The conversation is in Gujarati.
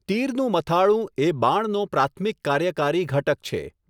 તીરનું મથાળું એ બાણનો પ્રાથમિક કાર્યકારી ઘટક છે.